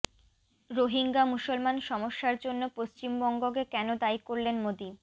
রোহিঙ্গা মুসলমান সমস্যার জন্য পশ্চিমবঙ্গকে কেন দায়ী করলেন মোদী